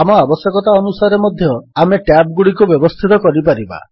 ଆମ ଆବଶ୍ୟକତା ଅନୁସାରେ ମଧ୍ୟ ଆମେ ଟ୍ୟାବ୍ ଗୁଡ଼ିକୁ ବ୍ୟବସ୍ଥିତ କରିପାରିବା